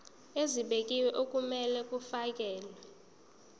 ezibekiwe okumele kufakelwe